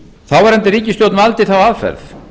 þáverandi ríkisstjórn valdi þá aðferð